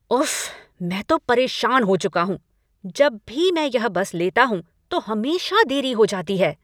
उफ्फ, मैं तो परेशान हो चुका हूँ! जब भी मैं यह बस लेता हूँ तो हमेशा देरी हो जाती है।